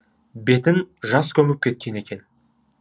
бетін жас көміп кеткен екен